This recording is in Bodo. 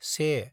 से